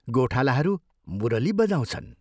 गोठालाहरू मुरली बजाउँछन्।